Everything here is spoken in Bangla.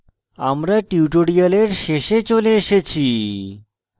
আমরা tutorial শেষে চলে এসেছি